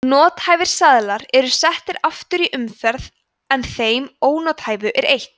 nothæfir seðlar eru settir aftur í umferð en þeim ónothæfu er eytt